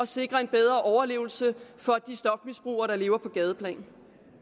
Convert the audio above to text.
sikre en bedre overlevelse for de stofmisbrugere der lever på gadeplan